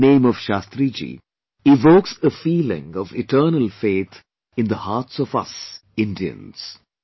The very name of Shastriji evokes a feeling of eternal faith in the hearts of us, Indians